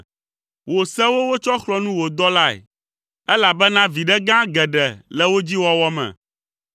Wò sewo wotsɔ xlɔ̃ nu wò dɔlae, elabena viɖe gã geɖe le wo dzi wɔwɔ me.